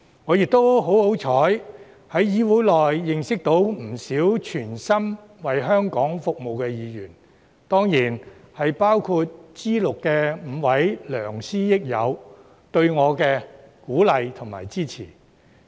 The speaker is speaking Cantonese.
我亦十分幸運，在議會內認識到不少全心為香港服務的議員，他們當然包括 G6 的5位給我鼓勵和支持的良師益友。